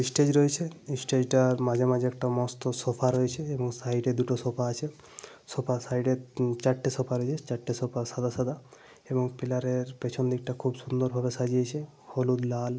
Stage রয়েছে। Stage টার মাঝে মাঝে একটা মস্ত সোফা রয়েছে। এবং সাইডে দুটো সোফা আছে। সোফা র সাইডে চারটে সোফা রয়েছে। চারটে সোফা সাদা সাদা। এবং পিলারের পেছন দিকটা খুব সুন্দরভাবে সাজিয়েছে। হলুদ লাল ।